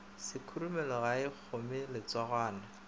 sekhurumelo ga e kgome letsogwana